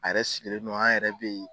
A yɛrɛ sigilen nɔ an yɛrɛ bɛ ye.